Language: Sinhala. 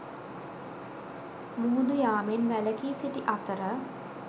මුහුදු යාමෙන් වැලකි සිටි අතර